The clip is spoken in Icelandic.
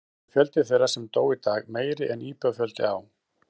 Að vísu er fjöldi þeirra sem dó í dag meiri en íbúafjöldi á